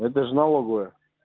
это же налоговая